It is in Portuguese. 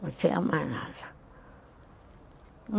Não tinha mais nada.